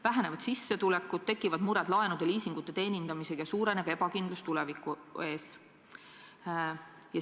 Vähenevad sissetulekud, tekivad mured liisingute ja muude laenude teenindamisega, suureneb ebakindlus tuleviku ees.